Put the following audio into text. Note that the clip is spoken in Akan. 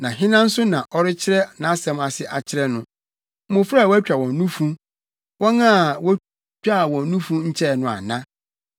“Hena na ɔpɛ sɛ ɔkyerɛkyerɛ no? Na hena nso na ɔrekyerɛ nʼasɛm ase akyerɛ no? Mmofra a wɔatwa wɔn nufu, wɔn a wotwaa wɔn nufu nkyɛe no ana?